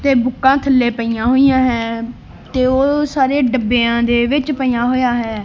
ਤੇ ਬੁੱਕਾਂ ਥੱਲੇ ਪਈਆਂ ਹੋਇਆਂ ਹੈਂ ਤੇ ਉਹ ਸਾਰੇ ਦੱਬਿਆਂ ਦੇ ਵਿੱਚ ਪਈਆਂ ਹੋਇਆ ਹੈਂ।